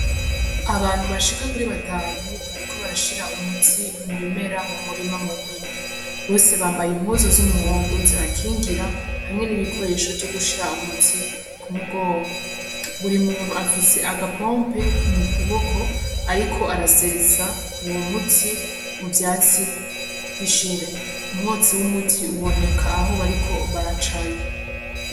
Abantu bashika kuri batanu bariko barashira umuti mubimera mumurima munini. Bose bambaye impuzu z'umuhondo zibakingira hamwe n'ibikoresho vyo gushira umuti kumugongo. Buri muntu afise agapompe mukuboko ariko arasesa uwo muti muvyatsi. Umwotsi w'umuti iboneka Aho bariko baraca.